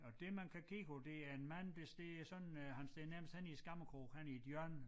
Og det man kan kigge på det er en mand der står sådan øh han står nærmest henne i æ skammekrog henne i et hjørne